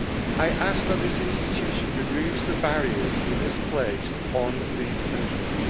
ago. I ask this institution to remove the barriers it has placed on these countries